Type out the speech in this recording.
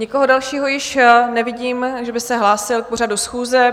Nikoho dalšího už nevidím, že by se hlásil k pořadu schůze.